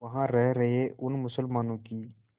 वहां रह रहे उन मुसलमानों की